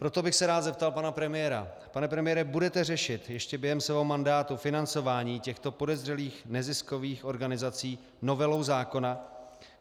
Proto bych se rád zeptal pana premiéra - pane premiére, budete řešit ještě během svého mandátu financování těchto podezřelých neziskových organizací novelou zákona?